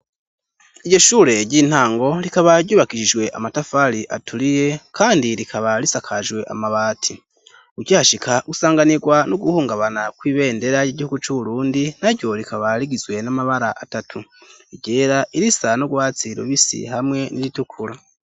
Iryo shure ry'intango rikaba ryubakishijwe amatafari aturiye, kandi rikaba risakajwe amabati. Ukihashika usanganirwa no guhungabana kw'ibendera ry'igihugu c'Uburundi. Naryo rikaba rigizwe n'amabara atatu iryera, irisa n'urwatsi rubisi, hamwe n'iritukura.